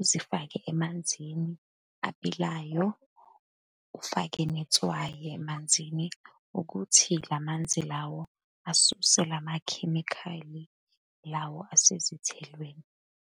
uzifake emanzini abilayo, ufake netswayi emanzini, ukuthi la manzi lawo asuse lamakhemikhali lawa esezithelweni.